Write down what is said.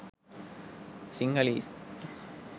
sinhalese